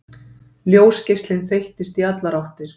Ljósgeislinn þeyttist í allar áttir.